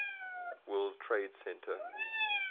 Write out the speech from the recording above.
world trade center